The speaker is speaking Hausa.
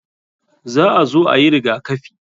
Za a zo ayi rigakafi.